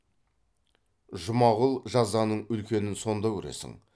жұмағұл жазаның үлкенін сонда көресің